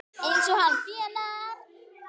Eins og hann þénar!